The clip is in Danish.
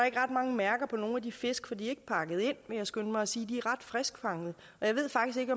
ikke ret mange mærker på nogen af de fisk for de er ikke pakket ind vil jeg skynde mig at sige de er ret friskfangede og jeg ved faktisk ikke